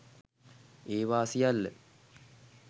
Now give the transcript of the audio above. ඒවා සියල්ල